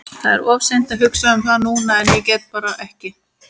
Það er of seint að hugsa um það núna en ég get bara ekki.